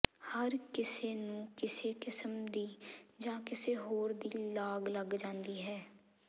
ਹਰ ਕਿਸੇ ਨੂੰ ਕਿਸੇ ਕਿਸਮ ਦੀ ਜਾਂ ਕਿਸੇ ਹੋਰ ਦੀ ਲਾਗ ਲੱਗ ਜਾਂਦੀ ਹੈ